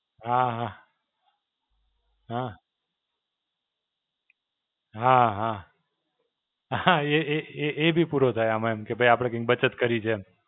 હાં. હાં. હાં હાં. હાં, એ એ એ એ બી પૂરો થાય આમાં એમ. કે ભઇ આપડે કઈંક બચત કરી છે એમ.